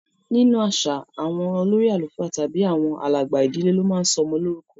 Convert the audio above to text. Ninu aṣa, awọn olori alufa tabi awọn alagba idile lo ma ń sọ ọmọ lorukọ